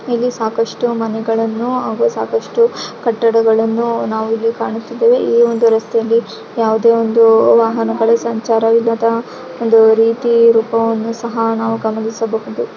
ಇಲ್ಲಿ ಸಾಕಷ್ಟು ಮನೆಗಳನ್ನು ಹಾಗು ಸಾಕಷ್ಟು ಕಟ್ಟಡಗಳನ್ನು ನಾವು ಇಲ್ಲಿ ಕಾಣುತ್ತಿದ್ದೇವೆ. ಈ ಒಂದು ರಸ್ತೆಯಲ್ಲಿ ಯಾವದೇ ಒಂದು ವಾಹನಗಳು ಸಂಚಾರ ಇರೋತರ ಒಂದು ರೀತಿ ರೂಪವನ್ನು ಸಹ ನಾವು ಗಮನಿಸಬಹುದು.